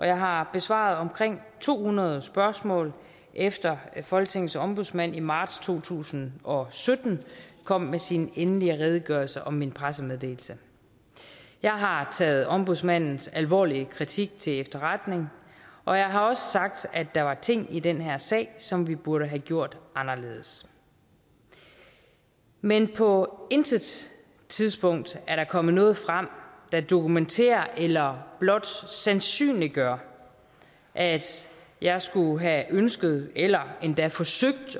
jeg har besvaret omkring to hundrede spørgsmål efter at folketingets ombudsmand i marts to tusind og sytten kom med sin endelige redegørelse om min pressemeddelelse jeg har taget ombudsmandens alvorlige kritik til efterretning og jeg har også sagt at der var ting i den her sag som vi burde have gjort anderledes men på intet tidspunkt er der kommet noget frem der dokumenterer eller blot sandsynliggør at jeg skulle have ønsket eller endda forsøgt